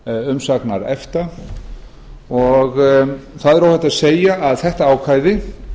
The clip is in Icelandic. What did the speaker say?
umsagnar efta það er óhætt að segja að þetta ákvæði